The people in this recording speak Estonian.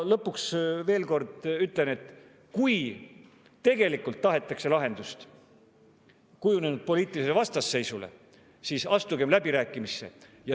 Lõpuks ütlen veel kord, et kui tegelikult tahetakse lahendust kujunenud poliitilisele vastasseisule, siis astugem läbirääkimistesse.